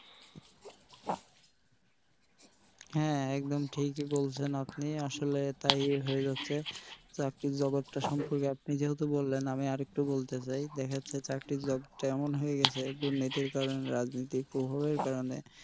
হ্যাঁ একদম ঠিকিই বলছেন আপনি আসলে তাই হয়ে যাচ্ছে চাকরি জগৎ টা সম্পর্কে আপনি যেহেতু বললেন আমি আরেকটু বলতে চাই দেখা যাচ্ছে চাকরির জগৎ টা এমন হয়ে গেছে দুর্নীতির কারনে রাজনীতির প্রভাবের কারনে,